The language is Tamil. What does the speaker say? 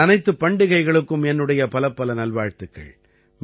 இந்த அனைத்துப் பண்டிகைகளுக்கும் என்னுடைய பலப்பல நல்வாழ்த்துக்கள்